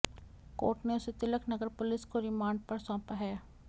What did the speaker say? court ने उसे Tilak Nagar police को रिमांड पर सौंपा है